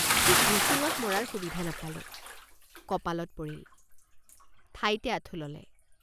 ঠিক ভুচুঙত মৰাৰ সুবিধা নাপালোঁ কপালত পৰিল ঠাইতে আঁঠু ললে।